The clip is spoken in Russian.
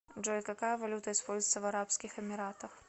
джой какая валюта используется в арабских эмиратах